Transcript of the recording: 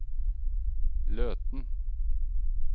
Løten